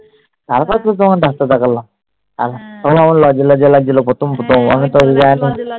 তারপর তো তোমার ডাক্তার দেখলাম তখন আবার লজ্জা লজ্জা লাগছিলো প্রথম প্রথম আমি